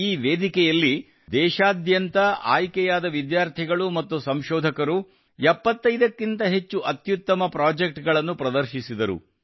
ಈ ವೇದಿಕೆಯಲ್ಲಿ ದೇಶಾದ್ಯಂತ ಆಯ್ಕೆಯಾದ ವಿದ್ಯಾರ್ಥಿಗಳು ಮತ್ತು ಸಂಶೋಧಕರು 75 ಕ್ಕಿಂತ ಹೆಚ್ಚು ಅತ್ಯುತ್ತಮ ಪ್ರಾಜೆಕ್ಟ್ ಗಳನ್ನು ಪ್ರದರ್ಶಿಸಿದರು